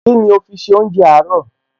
Kíni o fi ṣe oúnjẹ àárọ̀?